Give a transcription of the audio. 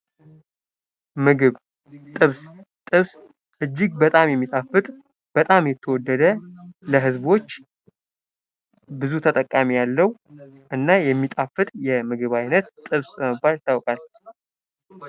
ምግብ ጥብስ እጅግ በጣም የሚጣፍጥ ፣ በጣም የተወደደ ለህዝቦች ብዙ ተጠቃሚ ያለው እና የሚጣፍጥ የምግብ ዓይነት ጥበስ በመባል ይታወቃል።